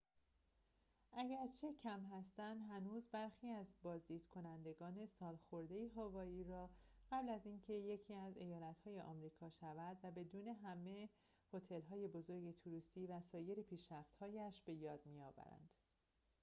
اگرچه کم هستند هنوز برخی از بازدید کنندگان سالخورده هاوایی را قبل از اینکه یکی از ایالت‌های امریکا شود و بدون همه هتل‌های بزرگ توریستی و سایر پیشرفت‌هایش به یاد می‌آورند